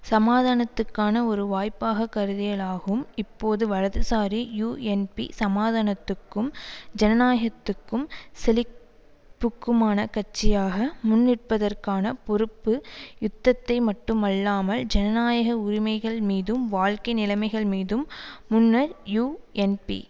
சமாதானத்துக்கான ஒரு வாய்ப்பாக கருதியலாகும் இப்போது வலதுசாரி யூஎன்பி சமாதானத்துக்கும் ஜனநாயகத்துக்கும் செழிப்புக்குமான கட்சியாக முன்நிற்பதற்கான பொறுப்பு யுத்தத்தை மட்டுமல்லாமல் ஜனநாயக உரிமைகள் மீதும் வாழ்க்கை நிலைமைகள் மீதும் முன்னர் யூஎன்பி